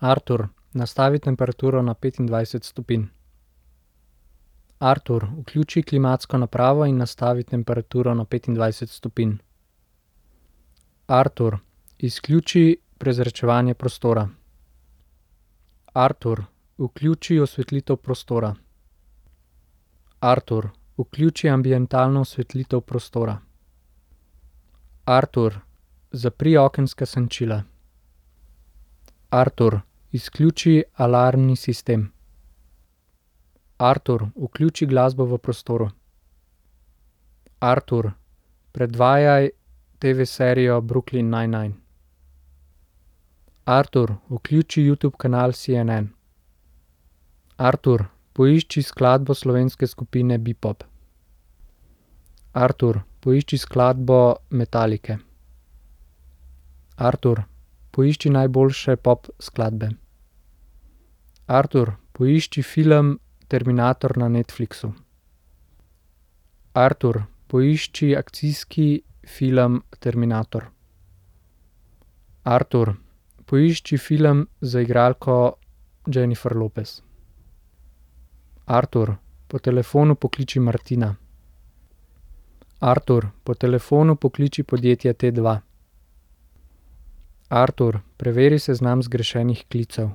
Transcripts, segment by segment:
Artur, nastavi temperaturo na petindvajset stopinj. Artur, vključi klimatsko napravo in nastavi temperaturo na petindvajset stopinj. Artur, izključi prezračevanje prostora. Artur, vključi osvetlitev prostora. Artur, vključi ambientalno osvetlitev prostora. Artur, zapri okenska senčila. Artur, izključi alarmni sistem. Artur, vključi glasbo v prostoru. Artur, predvajaj TV-serijo Brooklyn nine nine. Artur, vključi Youtube kanal CNN. Artur, poišči skladbo slovenske skupine Bepop. Artur, poišči skladbo Metallice. Artur, poišči najboljše pop skladbe. Artur, poišči film Terminator na Netflixu. Artur, poišči akcijski film Terminator. Artur, poišči film z igralko Jennifer Lopez. Artur, po telefonu pokliči Martina. Artur, po telefonu pokliči podjetje Tdva. Artur, preveri seznam zgrešenih klicev.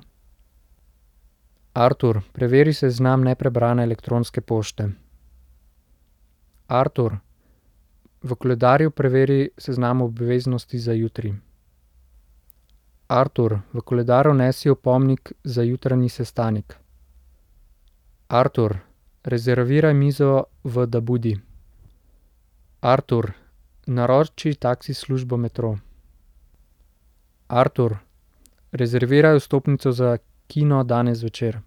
Artur, preveri seznam neprebrane elektronske pošte. Artur, v koledarju preveri seznam obveznosti za jutri. Artur, v koledar vnesi opomnik za jutranji sestanek. Artur, rezerviraj mizo v Dabudi. Artur, naroči taksi službo Metro. Artur, rezerviraj vstopnico za kino danes zvečer.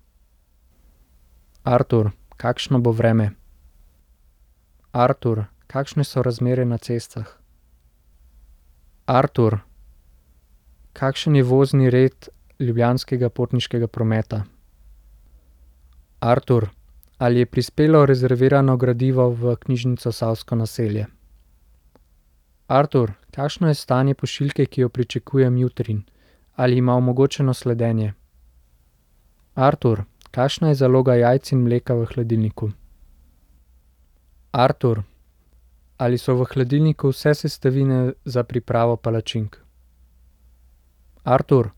Artur, kakšno bo vreme? Artur, kakšne so razmere na cestah? Artur, kakšen je vozni red Ljubljanskega potniškega prometa? Artur, ali je prispelo rezervirano gradivo v knjižnico Savsko naselje? Artur, kakšno je stanje pošiljke, ki jo pričakujem jutri? Ali ima omogočeno sledenje? Artur, kakšna je zaloga jajc in mleka v hladilniku? Artur, ali so v hladilniku vse sestavine za pripravo palačink? Artur,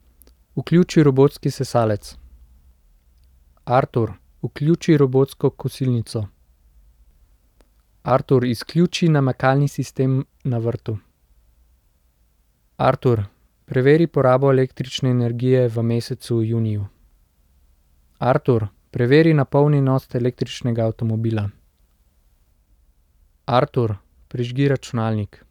vključi robotski sesalec. Artur, vključi robotsko kosilnico. Artur, izključi namakalni sistem na vrtu. Artur, preveri porabo električne energije v mesecu juniju. Artur, preveri napolnjenost električnega avtomobila. Artur, prižgi računalnik.